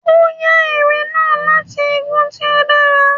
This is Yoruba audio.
O ya eré nah latí igùn tí o dàrá